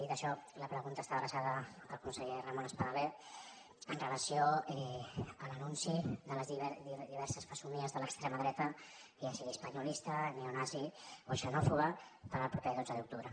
dit això la pregunta està adreçada al conseller ramon espadaler amb relació a l’anunci de les diverses fesomies de l’extrema dreta ja sigui espanyolista neonazi o xenòfoba per al proper dotze d’octubre